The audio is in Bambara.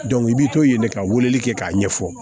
i bɛ to yen ka weleli kɛ k'a ɲɛfɔ